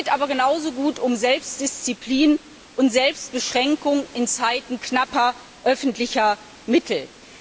aber genauso um Selbstdisziplin und Selbstbeschränkung in Zeiten knapper öffentlicher Mittel.